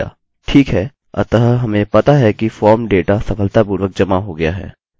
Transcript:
ठीक है अतः हमें पता है कि फॉर्म डेटा सफलतापूर्वक जमा हो गया है